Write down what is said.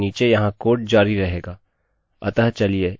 अतः चलिए इस कोड का निष्पादन करते हैं इस पर क्लिक करें